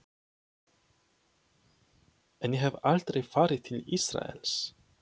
En ég hef aldrei farið til Ísraels.